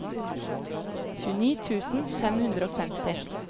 tjueni tusen fem hundre og femti